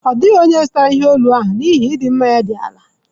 Ọ dịghị onye zụtara ihe olu ahụ n'ihi ịdị mma ya dị ala